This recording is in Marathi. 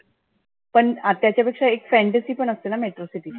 पण त्याच्या पेक्षा एक fantasy पण असतेना metro city ची.